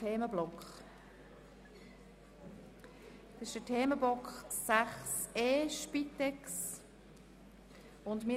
Erhöhung der Patientenbeteiligung Spitex (Massnahme 44.3.6):